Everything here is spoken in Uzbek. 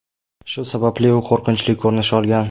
Shu sababli u qo‘rqinchli ko‘rinish olgan.